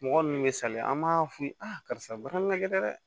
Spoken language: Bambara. Mɔgɔ ninnu bɛ sali an b'a f'u ye a karisa barakɛ dɛ